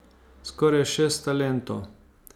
Skoraj šest talentov.